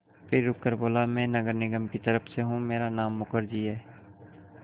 फिर रुककर बोला मैं नगर निगम की तरफ़ से हूँ मेरा नाम मुखर्जी है